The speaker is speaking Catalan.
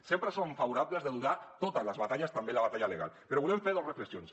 sempre som favorables de lliurar totes les batalles també la batalla legal però volem fer dos reflexions